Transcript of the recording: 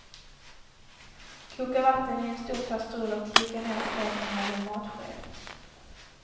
Koka vatten i en stor kastrull och klicka ned smeten med en matsked.